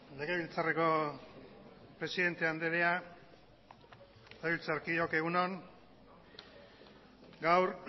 legebiltzarreko presidente andrea legebiltzarkideok egun on gaur